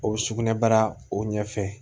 O bɛ sugunɛbara o ɲɛfɛ